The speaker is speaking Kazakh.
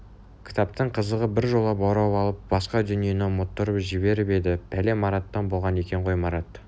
кітаптың қызығы біржола баурап алып басқа дүниені ұмыттырып жіберіп еді пәле мараттан болған екен қой марат